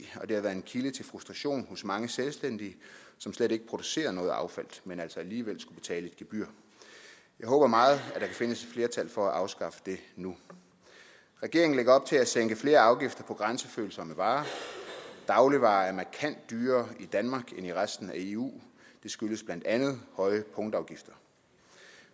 og det har været en kilde til frustration hos mange selvstændige som slet ikke producerer noget affald men altså alligevel betale et gebyr jeg håber meget at findes flertal for at afskaffe det nu regeringen lægger op til at sænke flere afgifter på grænsefølsomme varer dagligvarer er markant dyrere i danmark end i resten af eu det skyldes blandt andet høje punktafgifter